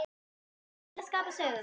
Við erum öll að skapa sögu.